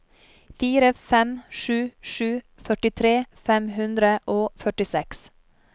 fire fem sju sju førtitre fem hundre og førtiseks